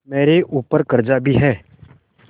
मेरे ऊपर कर्जा भी है